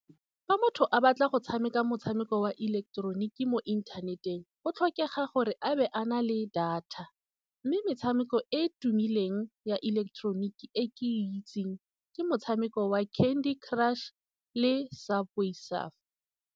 Fa motho a batla go tshameka motshameko wa ileketeroniki mo inthaneteng, go tlhokega gore a be a na le data. Mme metshameko e e tumileng ya ileketeroniki e ke itseng ke motshameko wa Candy Crush, le Subway Surfers.